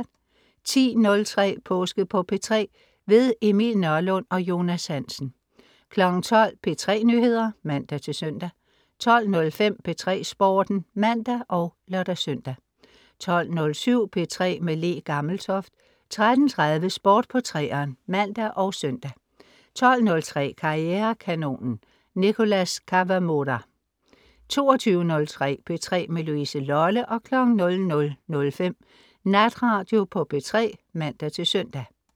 10.03 Påske på P3. Emil Nørlund og Jonas Hansen 12.00 P3 Nyheder (man-søn) 12.05 P3 Sporten (man og lør-søn) 12.07 P3 med Le Gammeltoft 13.30 Sport på 3'eren (man og søn) 20.03 Karrierekanonen. Nicholas Kawamura 22.03 P3 med Louise Lolle 00.05 Natradio på P3 (man-søn)